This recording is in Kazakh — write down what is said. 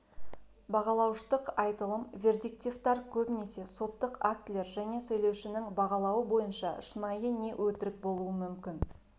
бағалауыштық айтылым вердиктивтар көбінесе соттық актілер және сөйлеушнің бағалауы бойынша шынайы не өтірік болуы мүмкін